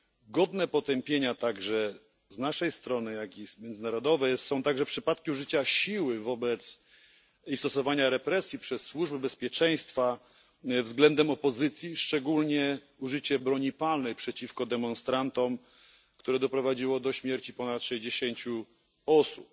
Godne potępienia z naszej strony, jak i międzynarodowej są także przypadki użycia siły i stosowania represji przez służby bezpieczeństwa względem opozycji, szczególnie użycie broni palnej przeciwko demonstrantom, które doprowadziło do śmierci ponad 60 osób.